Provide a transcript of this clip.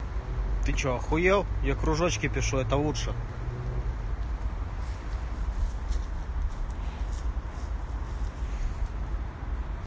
ты что ахуел я кружочки пишу это лучше